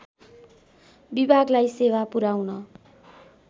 विभागलाई सेवा पुर्‍याउन